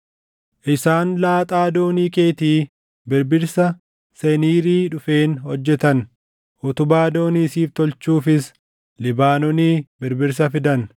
Isaan laaxaa doonii keetii birbirsa Seniirii dhufeen hojjetan; utubaa doonii siif tolchuufis Libaanoonii birbirsa fidan.